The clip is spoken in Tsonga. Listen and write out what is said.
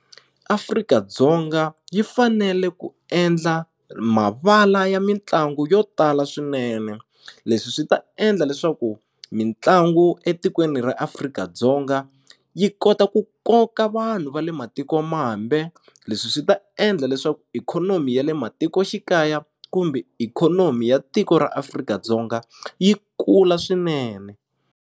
Afrika-Dzonga yi fanele ku endla mavala ya mitlangu yo tala swinene leswi swi ta endla leswaku mitlangu etikweni ra Afrika-Dzonga yi kota ku koka vanhu va le matikomambe leswi swi ta endla leswaku ikhonomi ya le matikoxikaya kumbe ikhonomi ya tiko ra Afrika-Dzonga yi kula swinene.